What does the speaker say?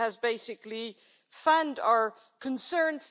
it has basically fanned our concerns.